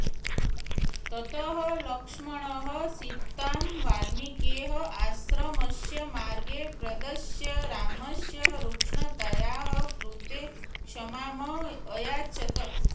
ततः लक्ष्मणः सीतां वाल्मिकेः आश्रमस्य मार्गं प्रदर्श्य रामस्य रूक्षतायाः कृते क्षमाम् अयाचत्